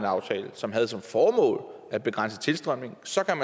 aftale som havde som formål at begrænse tilstrømningen så kan